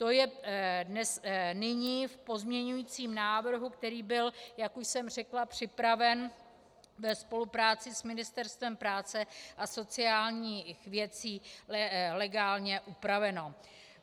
To je nyní v pozměňovacím návrhu, který byl, jak už jsem řekla, připraven ve spolupráci s Ministerstvem práce a sociálních věcí, legálně upraveno.